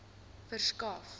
verskaf